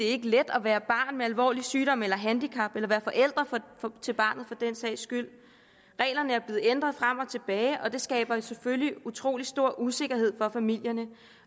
er let at være barn med alvorlig sygdom eller handicap eller være forældre til barnet for den sags skyld reglerne er blevet ændret frem og tilbage og det skaber selvfølgelig utrolig stor usikkerhed for familierne